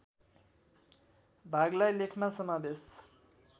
भागलाई लेखमा समावेश